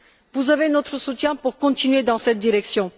Vous avez notre soutien pour continuer dans cette direction.